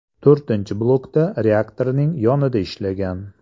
To‘rtinchi blokda reaktorning yonida ishlagan.